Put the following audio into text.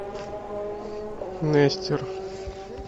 нестер